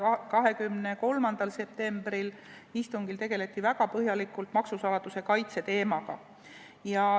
23. septembri istungil tegeldi väga põhjalikult maksusaladuse kaitse teemaga.